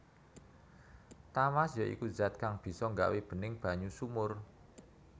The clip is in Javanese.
Tawas ya iku zat kang bisa nggawé bening banyu sumur